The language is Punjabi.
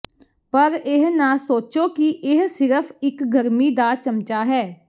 ਪਰ ਇਹ ਨਾ ਸੋਚੋ ਕਿ ਇਹ ਸਿਰਫ਼ ਇਕ ਗਰਮੀ ਦਾ ਚਮਚਾ ਹੈ